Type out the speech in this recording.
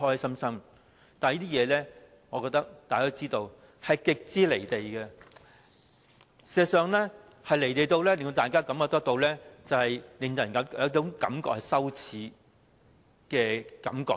不過，大家都知道這是極為"離地"的，而事實上，是"離地"得令大家有種羞耻的感覺。